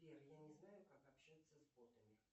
сбер я не знаю как общаться с ботами